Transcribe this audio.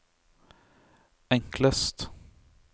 enklest